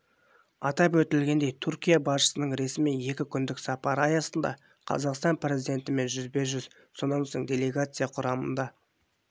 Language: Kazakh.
атап өтілгендей түркия басшысының ресми екі күндік сапары аясында қазақстан президентімен жүзбе-жүз сонан соң делегация құрамында